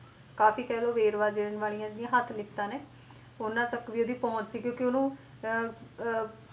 ਕਾਫ਼ੀ ਕਹਿ ਲਓ ਵੇਰਵਾ ਦੇਣਾ ਵਾਲੀਆਂ ਜਿਹੜੀਆਂ ਹੱਥ ਲਿਖਤਾਂ ਨੇ, ਉਹਨਾਂ ਤੱਕ ਵੀ ਇਹਦੀ ਪਹੁੰਚ ਸੀ ਕਿਉਂਕਿ ਉਹਨੂੰ ਅਹ ਅਹ